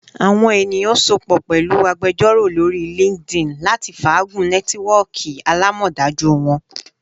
Awọn eniyan sopọ pẹlu agbejoro lori LinkedIn lati faagun nẹtiwọọki alamọdaju wọn